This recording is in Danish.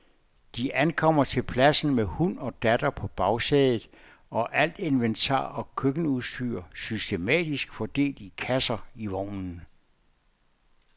De ankommer til pladsen med hund og datter på bagsædet og alt inventar og køkkenudstyr systematisk fordelt i kasser i vognen.